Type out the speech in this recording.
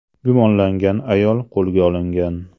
Gumonlangan ayol qo‘lga olingan.